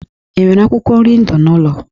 E nwere akwụkwọ nri ndụ n'ụlọ?